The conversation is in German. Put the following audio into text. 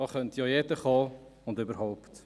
da könnte ja jeder kommen und: überhaupt.